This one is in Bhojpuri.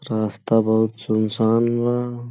रास्ता बहुत सुनसान बा।